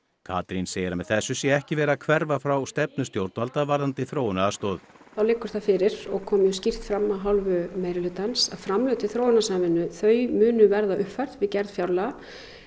Katrín segir að með þessu sé ekki verið að hverfa frá stefnu stjórnvalda varðandi þróunaraðstoð þá liggur það fyrir og kom skýrt fram af hálfu meirihlutans að framlög til þróunarsamvinnu þau munu verða uppfærð við gerð fjárlaga